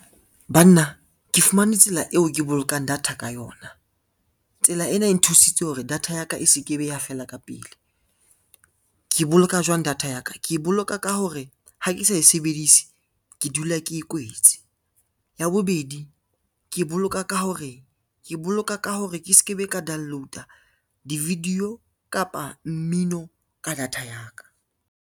Banna ke fumane tsela eo ke bolokang data ka yona. Tsela ena e nthusitse hore data ya ka e se ke be ya fela ka pele. Ke boloka jwang data ya ka, ke e boloka ka hore ha ke sa e sebedise ke dula ke e kwetse. Ya bobedi ke boloka ka hore? Ke boloka ka hore ke se ke be ka download-a di-video kapa mmino ka data ya ka.